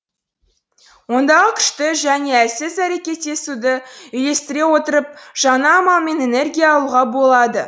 ондағы күшті және әлсіз әрекеттесуді үйлестіре отырып жаңа амалмен энергия алуға болады